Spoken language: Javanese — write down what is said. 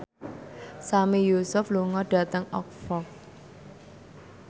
Sami Yusuf lunga dhateng Oxford